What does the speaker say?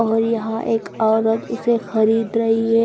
और यहा एक ओरत उसे खरीद रही है।